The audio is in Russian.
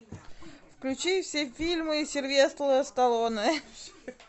включи все фильмы сильвестра сталлоне